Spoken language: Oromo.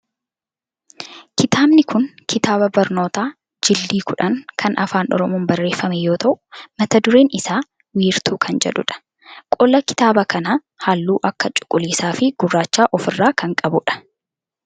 Kitaabni kun kitaaba barnotaa jildii-10 kan afaan oromoon barreeffame yoo ta'u mata dureen isaa wiirtuu kan jedhu dha. qolli kitaaba kana halluu akka cuquliisa fi gurraacha of irraa kana qabudha.